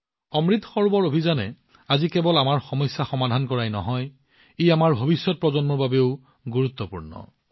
অমৃত সৰোবৰ অভিযানে আজি কেৱল আমাৰ বহু সমস্যা সমাধান কৰাই নহয় ই আমাৰ ভৱিষ্যত প্ৰজন্মৰ বাবেও সমানে প্ৰয়োজনীয়